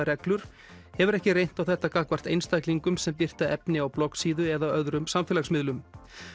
reglur hefur ekki reynt á þetta gagnvart einstaklingum sem birta efni á bloggsíðu eða öðrum samfélagsmiðlum